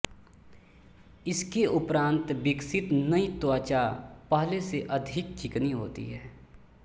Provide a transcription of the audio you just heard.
इसके उपरान्त विकसित नयी त्वचा पहले से अधिक चिकनी होती है